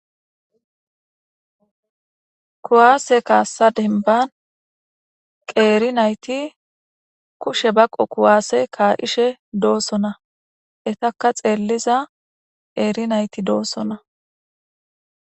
kuwaase kaassa denban qeeri nayti kushe baqo kuwaase kaa7ishe doossona etaka xeelliza qeeri nayti doossona